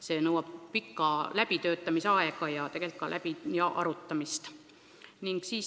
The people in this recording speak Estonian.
See nõuab pikka läbitöötamisaega ja põhjalikku arutamist.